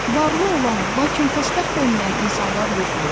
Varlı olan, lakin xoşbəxt olmayan insanlar yoxdur?